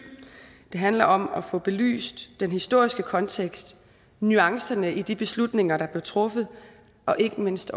den handler om at få belyst den historiske kontekst nuancerne i de beslutninger der blev truffet og ikke mindst